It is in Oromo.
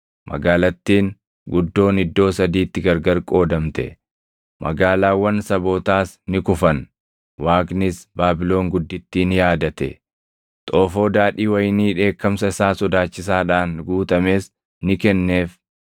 Magaalattiin guddoon iddoo sadiitti gargar qoodamte; magaalaawwan sabootaas ni kufan. Waaqnis Baabilon Guddittii ni yaadate; xoofoo daadhii wayinii dheekkamsa isaa sodaachisaadhaan guutames ni kenneef.